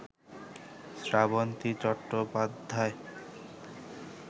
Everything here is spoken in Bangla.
শ্রাবন্তী চট্টোপাধ্যায়